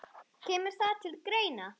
Kemur það til greina?